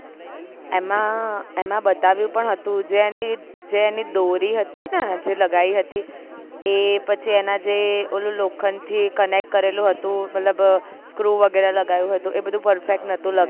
એમાં એમાં બતાવ્યું પણ હતું જે એની જે એની દોરી હતી ને જે લગાયી હતી એ એના પછી જે ઓલું લોખંડ થી connect કરેલું હતું મતલબ screw વગેરે લગાવ્યું હતું એ બધું perfect નોતું